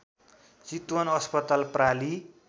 चितवन अस्पताल प्रालि